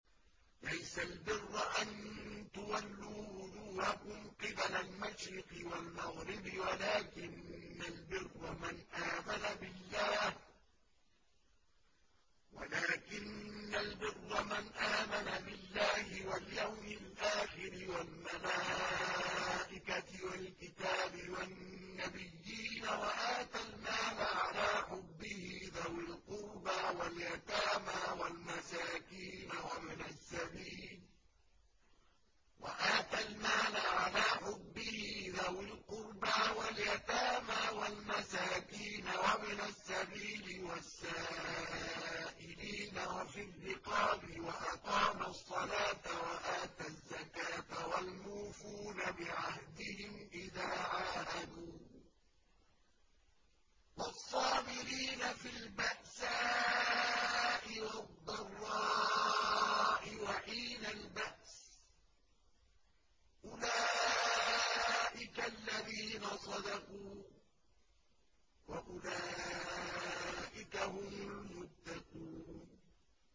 ۞ لَّيْسَ الْبِرَّ أَن تُوَلُّوا وُجُوهَكُمْ قِبَلَ الْمَشْرِقِ وَالْمَغْرِبِ وَلَٰكِنَّ الْبِرَّ مَنْ آمَنَ بِاللَّهِ وَالْيَوْمِ الْآخِرِ وَالْمَلَائِكَةِ وَالْكِتَابِ وَالنَّبِيِّينَ وَآتَى الْمَالَ عَلَىٰ حُبِّهِ ذَوِي الْقُرْبَىٰ وَالْيَتَامَىٰ وَالْمَسَاكِينَ وَابْنَ السَّبِيلِ وَالسَّائِلِينَ وَفِي الرِّقَابِ وَأَقَامَ الصَّلَاةَ وَآتَى الزَّكَاةَ وَالْمُوفُونَ بِعَهْدِهِمْ إِذَا عَاهَدُوا ۖ وَالصَّابِرِينَ فِي الْبَأْسَاءِ وَالضَّرَّاءِ وَحِينَ الْبَأْسِ ۗ أُولَٰئِكَ الَّذِينَ صَدَقُوا ۖ وَأُولَٰئِكَ هُمُ الْمُتَّقُونَ